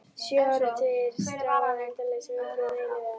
Sjö áratugir: strá á endalausum völlum eilífðarinnar.